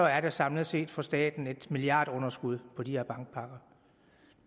er der samlet set for staten et milliardunderskud på de her bankpakker